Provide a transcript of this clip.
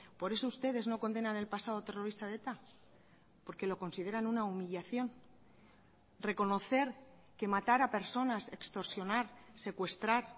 por eso ustedes no condenan el pasado terrorista de eta porque lo consideran una humillación reconocer que matar a personas extorsionar secuestrar